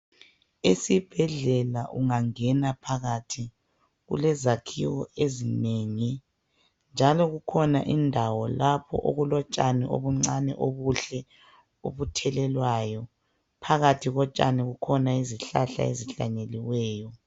Esibhedlela ungangena phakathi kulezakhiwo ezinengi njalo kukhona indawo okulotshani obuncane obuhle obuthelelwayo phakathi kotshani kulezihlahla ezihlanyeliweyo.